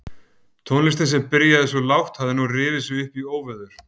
Tónlistin sem byrjaði svo lágt hafði nú rifið sig upp í óveður.